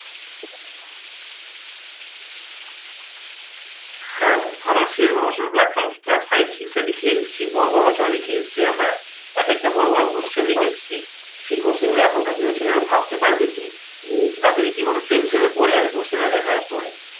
হ্যাঁ, আমার সেরকম class five six এ লিখে এসেছি, বড় বড় রচনা লিখে এসেছি আমরা। একেকটা বড় বড় question লিখে এসেছি। সেই question গুলো এখন কার দিনের ছেলেরা ভাবতে পারবে কি? তারা তো রীতিমতো tention এ পরে যাবে question টা দেখার পরে।